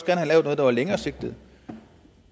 der var mere langsigtet